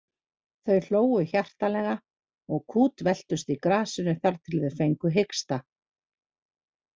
Þau hlógu hjartanlega og kútveltust í grasinu þar til þau fengu hiksta.